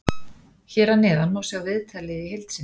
Hér að neðan má sjá viðtalið í heild sinni.